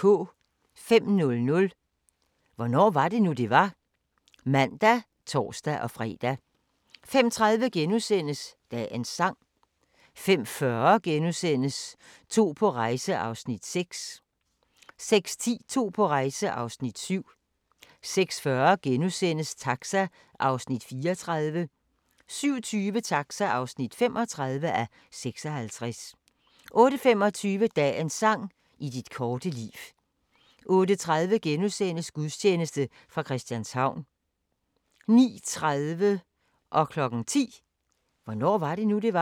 05:00: Hvornår var det nu, det var? (man og tor-fre) 05:30: Dagens sang * 05:40: To på rejse (6:10)* 06:10: To på rejse (7:10) 06:40: Taxa (34:56)* 07:20: Taxa (35:56) 08:25: Dagens sang: I dit korte liv 08:30: Gudstjeneste fra Christianshavn * 09:30: Hvornår var det nu, det var? 10:00: Hvornår var det nu, det var?